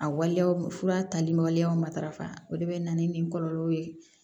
A waleyaw fura tali ma waleyaw matarafa o de bɛ na ni kɔlɔlɔw ye